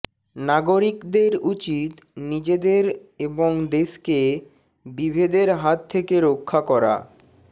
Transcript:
নাগরিকদের উচিত নিজেদের এবং দেশকে বিভেদের হাত থেকে রক্ষা করা